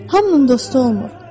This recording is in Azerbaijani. Hamının dostu olmur.